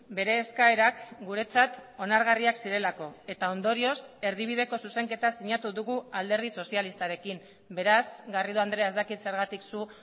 bere eskaerak guretzat onargarriak zirelako eta ondorioz erdibideko zuzenketa sinatu dugu alderdi sozialistarekin beraz garrido andrea ez dakit zergatik zu